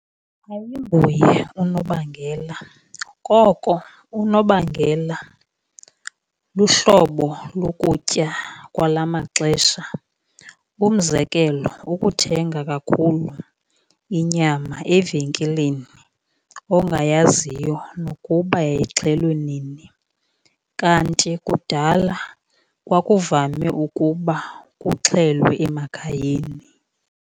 Ayinguye unobangela. Koko unobangela luhlobo lokutya kwala maxesha. Umzekelo, ukuthenga kakhulu inyama evenkileni ongayaziyo nokuba yayixhelwe nini. Kanti kudala kwakuvame ukuba kuxhelwe emakhayeni.